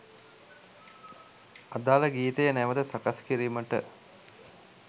අදාල ගීතය නැවත සකස් කිරීමට